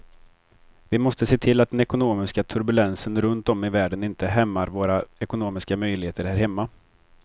Vi måste se till att den ekonomiska turbulensen runt om i världen inte hämmar våra ekonomiska möjligheter här hemma.